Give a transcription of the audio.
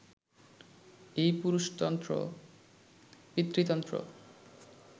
এই পুরুষতন্ত্র, পিতৃতন্ত্র